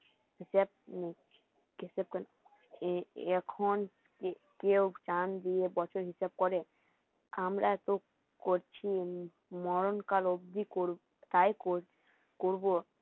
এখন কেউ জান দিয়ে বছর হিসাব করে আমরা এত করছি মরণকাল অব্দি করবো তাই করবো